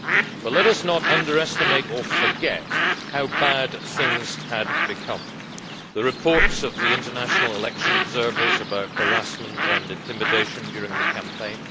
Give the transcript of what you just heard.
But let us not underestimate or forget how bad things had become the reports of the international election observers about harassment and intimidation during the campaign